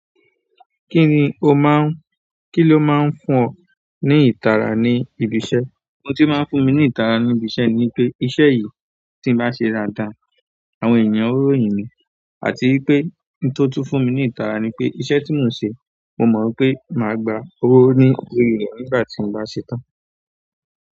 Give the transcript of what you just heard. Kí ló máa ń fún ọ ní ìtara ní ibi iṣẹ́? Ohun tí máa ń fún mi ní ìtara ní ibi iṣẹ́ ni wipé iṣẹ́ yìí tí n bá ṣe dáadáa, àwọn èèyàn ó yin mi. Àti wipé ohun tó tún fún mi ní ìtara ni pé iṣẹ́ tí mò ń ṣe, mo mọ̀ wipé màá gba owó ní orí rẹ̀ nígbà tí mo bá ṣe tán.